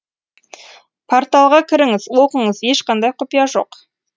порталға кіріңіз оқыңыз ешқандай құпия жоқ